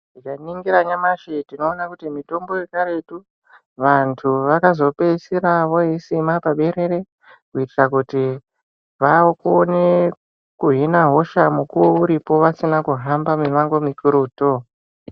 Tikaringira nyamashi tinoone kuti mitombo yekaretu vantu vakazopedzisira vooisime paberere kuitira kuti vaone kuhina hosha mukuwo uripo vasina kuhamba mimango mikurutu.